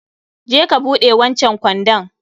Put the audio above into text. je ka buɗe wancan kwandon